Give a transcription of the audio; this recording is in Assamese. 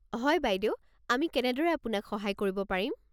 হয় বাইদেউ, আমি কেনেদৰে আপোনাক সহায় কৰিব পাৰিম?